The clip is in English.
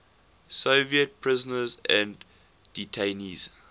soviet prisoners and detainees